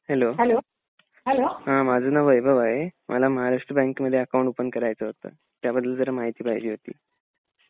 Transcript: Hello हा माझं नाव वैभव आहे. मला महाराष्ट्र बँकेमध्ये अकाउंट ओपन करायचं होत. त्याबद्दल जरा माहिती पाहिजे होती.